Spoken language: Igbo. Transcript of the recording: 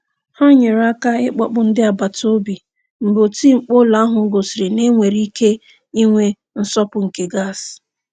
Ha nyere aka ịkpọpụ ndị agbataobi mgbe oti mkpu ụlọ ahụ gosiri na e nwere ike inwe nsọpụ nke gas.